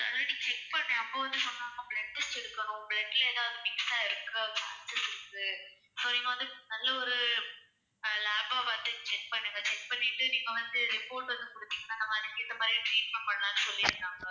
already check பண்ணேன் அப்ப வந்து சொன்னாங்க blood test எடுக்கணும் blood ல எதாவது mix ஆயிருக்கு so இது வந்து நல்ல ஒரு அஹ் lab ஆ பார்த்து check பண்ணுங்க check பண்ணிட்டு நீங்க வந்து report வந்து குடுத்திங்கனா நாங்க அதுக்கு ஏத்த மாதிரி treatment பண்ணலாம்னு சொல்லியிருந்தாங்க